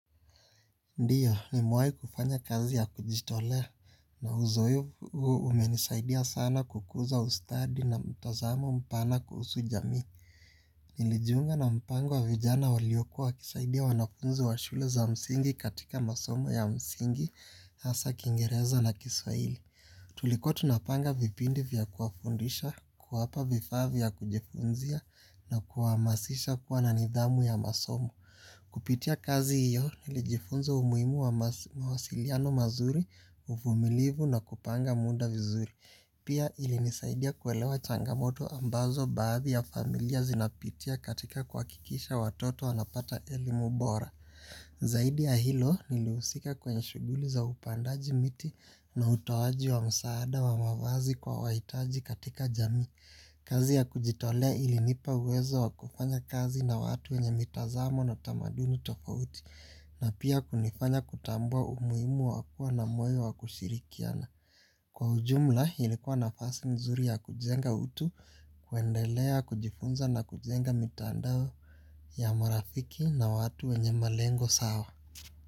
Ndiyo, nimewahi kufanya kazi ya kujitolea na uzoefu huo umenisaidia sana kukuza ustadi na mtazamo mpana kuhusu jamii. Nilijunga na mpango wa vijana waliokuwa wakisaidia wanafunzi wa shule za msingi katika masomo ya msingi hasa kiingereza na kiswahili. Tulikuwa tunapanga vipindi vya kuwafundisha, kuwapa vifaa vya kujifunzia na kuwahamasisha kuwa na nidhamu ya masomo. Kupitia kazi hiyo nilijifunza umuhimu wa mawasiliano mazuri, uvumilivu na kupanga muda vizuri. Pia ilinisaidia kuelewa changamoto ambazo baadhi ya familia zinapitia katika kuhakikisha watoto wanapata elimu bora. Zaidi ya hilo nilihusika kwenye shughuli za upandaji miti na utoaji wa msaada wa mavazi kwa wahitaji katika jamii. Kazi ya kujitolea ilinipa uwezo wa kufanya kazi na watu wenye mitazamo na tamaduni tofauti. Na pia kunifanya kutambua umuhimu wa kuwa na moyo wa kushirikiana. Kwa ujumla ilikuwa nafasi nzuri ya kujenga utu, kuendelea kujifunza na kujenga mitandao ya marafiki na watu wenye malengo sawa.